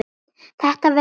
Þetta verður gaman.